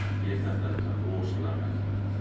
Mér þótti þetta rosalega merkilegt.